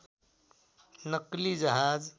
नक्कली जहाज